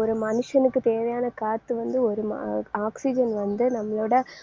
ஒரு மனுஷனுக்கு தேவையான காத்து வந்து ஒரு ம~ oxygen வந்து நம்மளோட